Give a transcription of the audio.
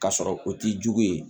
K'a sɔrɔ o t'i jugu ye